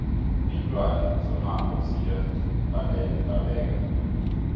iinlwane zomango ziya babeka